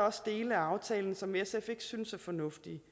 også dele af aftalen som sf ikke synes er fornuftige